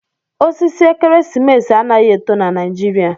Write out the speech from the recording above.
Osisi ekeresimesi anaghi eto na Naijiria.